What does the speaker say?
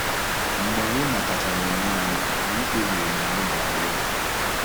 Mgbe anyị matachara onwe anyị, anyị kpebiri na anyị ga-alụ.